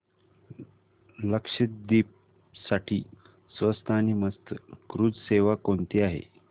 लक्षद्वीप साठी स्वस्त आणि मस्त क्रुझ सेवा कोणती आहे